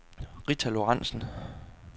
Rita Lorentzen